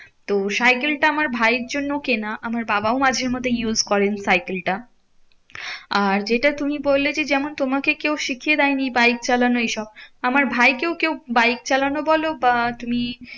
তো সাইকেল টা আমার ভাইয়ের জন্য কেনা আমার বাবাও মাঝে মধ্যে use করেন সাইকেলটা। আর যেটা তুমি বললে যে, যেমন তোমাকে কেউ শিখিয়ে দেয়নি বাইক চালানো এইসব। আমার ভাইকেও কেউ বাইক চালানো বলো বা তুমি